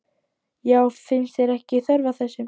Karen: Já, finnst þér ekki þörf á þessu?